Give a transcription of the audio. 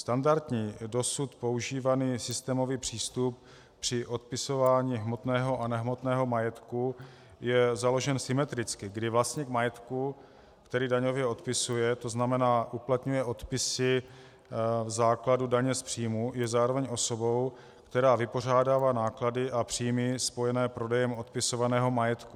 Standardní, dosud používaný systémový přístup při odpisování hmotného a nehmotného majetku je založen symetricky, kdy vlastník majetku, který daňově odpisuje, to znamená uplatňuje odpisy v základu daně z příjmu, je zároveň osobou, která vypořádává náklady a příjmy spojené prodejem odpisovaného majetku.